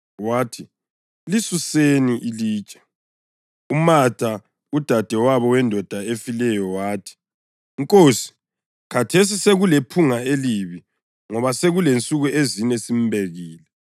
Wathi, “Lisuseni ilitshe.” UMatha, udadewabo wendoda efileyo wathi, “Nkosi, khathesi sekulephunga elibi ngoba selensuku ezine simbekile.”